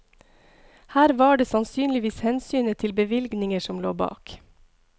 Her var det sannsynligvis hensynet til bevilgninger som lå bak.